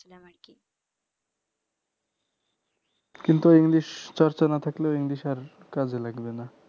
কিন্তু english চর্চা না থাকলে english আর কাজে লাগবেনা